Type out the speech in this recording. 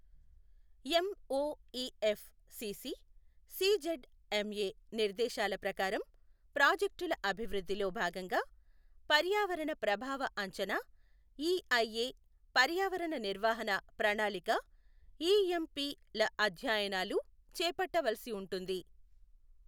MoEF CC, CZMA నిర్దేశాల ప్రకారం ప్రాజెక్టుల అభివృద్ధిలో భాగంగా పర్యావరణ ప్రభావ అంచనా ఇఐఎ, పర్యావరణ నిర్వహణ ప్రణాళిక ఇఎంపి ల అధ్యయనాలు చేపట్టవలసి ఉంటుంది.